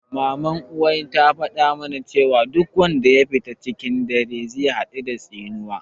Maman Owen ta faɗa ma na cewa duk wanda ya fita da tsaƙan dare zai haɗu da tsinuwa